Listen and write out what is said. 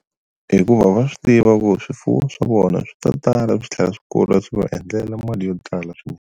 Hikuva va swi tiva ku swifuwo swa vona swi to tala swi tlhela swi kula swi va endlela mali yo tala swinene.